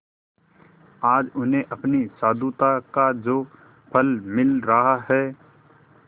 आज उन्हें अपनी साधुता का जो फल मिल रहा है